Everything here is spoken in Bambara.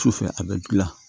Sufɛ a bɛ dilan